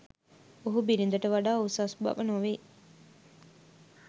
ඔහු බිරිඳට වඩා උසස් බව නොවෙයි